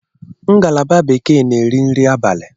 Ngalaba Bekee na-eri nri abalị.